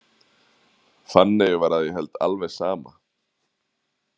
Fanneyju var að ég held alveg sama.